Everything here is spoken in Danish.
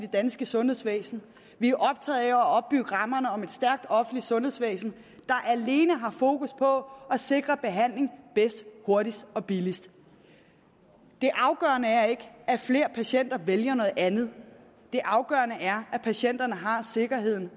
danske sundhedsvæsen vi er optaget af at opbygge rammerne om et stærkt offentligt sundhedsvæsen der alene har fokus på at sikre behandling bedst hurtigst og billigst det afgørende er ikke at flere patienter vælger noget andet det afgørende er at patienterne har sikkerheden